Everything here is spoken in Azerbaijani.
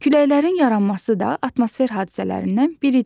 Küləklərin yaranması da atmosfer hadisələrindən biridir.